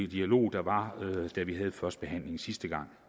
dialog der var da vi havde førstebehandlingen sidste gang